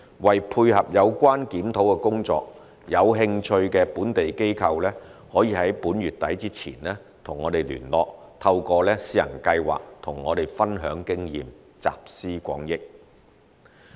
為配合有關檢討工作，有興趣的本地機構可於本月底前與我們聯絡，透過試行計劃與我們分享經驗，集思廣益。